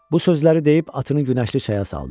Bu sözləri deyib atını günəşli çaya saldı.